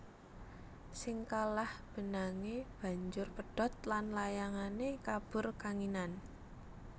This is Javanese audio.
Sing kalah benangé banjur pedhot lan layangané kabur kanginan